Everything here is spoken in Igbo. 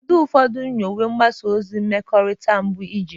Kedu ụfọdụ nyiwe mgbasa ozi mmekọrịta mbụ ị jiri?